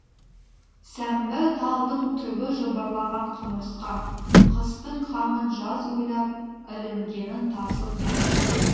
сәмбі талдың түбі жыбырлаған құмырсқа қыстың қамын жаз ойлап ілінгенін тасып әлек